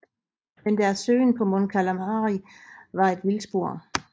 Men deres søgen på Mon Calamari var et vildspor